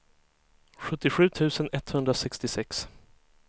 sjuttiosju tusen etthundrasextiosex